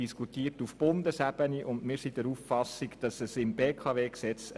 Diese wird auf Bundesebene diskutiert.